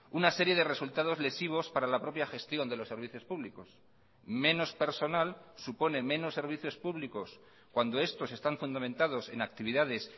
una serie de resultados lesivos para la propia gestión de los servicios públicos menos personal supone menos servicios públicos cuando estos están fundamentados en actividades